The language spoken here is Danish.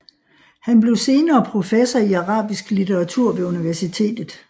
Han blev senere professor i arabisk litteratur ved universitetet